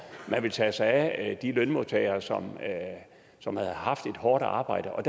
at man ville tage sig af de lønmodtagere som som havde haft et hårdt arbejde og